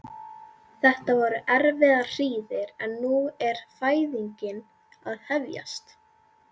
Þetta voru erfiðar hríðir en nú er fæðingin að hefjast.